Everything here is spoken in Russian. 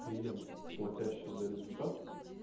клиент платящий за результат